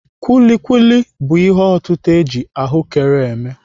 Kuli kuli bụ ihe otịta eji ahụ́kere emere.